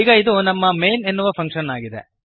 ಈಗ ಇದು ನಮ್ಮ ಮೈನ್ ಎನ್ನುವ ಫಂಕ್ಶನ್ ಆಗಿದೆ